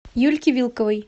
юльке вилковой